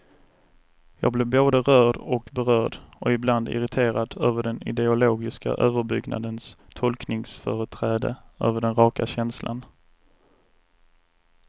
Jag blir både rörd och berörd och ibland irriterad över den ideologiska överbyggnadens tolkningsföreträde över den raka känslan.